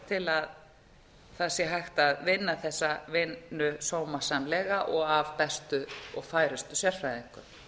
það sé hægt að vinna þessa vinnu sómasamlega og af bestu og færustu sérfræðingum